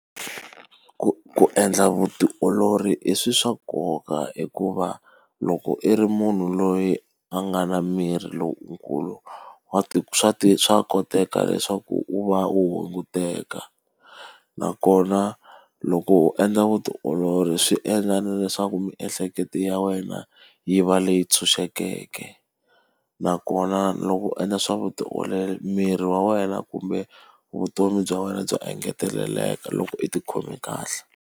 Ku ku endla vutiolori i swilo swa nkoka hikuva loko i ri munhu loyi a nga na miri lowukulu, wa swa swa koteka leswaku u va u hunguteka. Nakona loko u endla vutiolori swi endla na leswaku miehleketo ya wena yi va leyi ntshunxekeke. Nakona loko u endla swa vutiolori miri wa wena kumbe vutomi bya wena bya engeteleleka loko i ti khome kahle.